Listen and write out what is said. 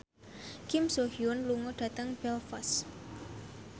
Kim So Hyun lunga dhateng Belfast